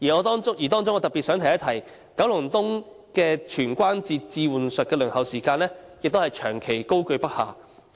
當中我特別想指出，九龍東的全關節置換手術的輪候時間長期居高不下。